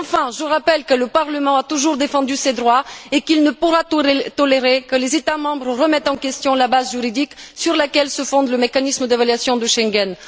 Enfin, je rappelle que le Parlement a toujours défendu ses droits et qu'il ne pourra tolérer que les États membres remettent en question la base juridique sur laquelle se fonde le mécanisme d'évaluation de Schengen.